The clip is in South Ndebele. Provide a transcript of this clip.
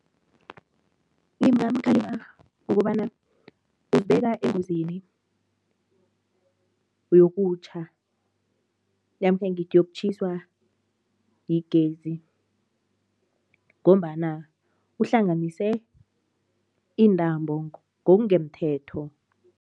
Ngingamkhalima ngokobana uzibeka engozini yokutjha namkha ngithi yokutjhiswa yigezi ngombana uhlanganise iintambo ngokungemthetho.